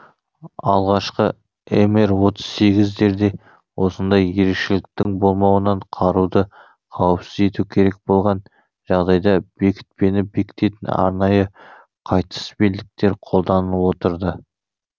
алғашқы мр отыз сегіздерде осындай ерекшеліктің болмауынан қаруды қауіпсіз ету керек болған жағдайда бекітпені бекітетін арнайы қайтыс белдіктер қолданылып отырды